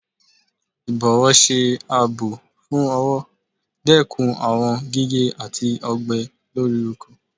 Ibọwọ ọwọ ṣe aabọ fún ọwọ, dekún awọn gige ati ọgbẹ lori oko.